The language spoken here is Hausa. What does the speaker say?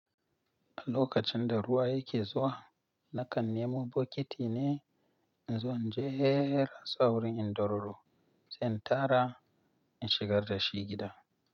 A lokacin da ruwa yake zuwa, na kan nemo bokiti ne in zo in jera su a wurin in dororo, zan tara in shigar da shi gida.